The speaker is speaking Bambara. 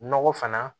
Nɔgɔ fana